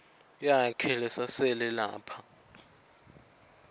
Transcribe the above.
yakhe lesasele lapha